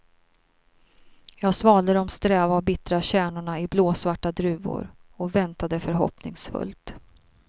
Jag svalde de sträva och bittra kärnorna i blåsvarta druvor och väntade förhoppningsfullt.